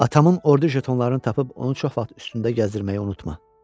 Atamın ordu jetonlarını tapıb onu çox vaxt üstündə gəzdirməyi unutma.